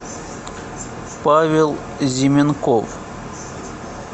павел зименков